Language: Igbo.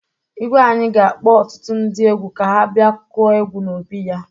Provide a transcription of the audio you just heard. Igwe anyị ga-akpọ ọtụtu ndị egwu ka ha bịa kụọ egwu n'obi ya.